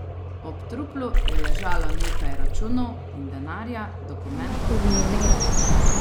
Ob truplu je ležalo nekaj računov in denarja, dokumentov pa ni bilo.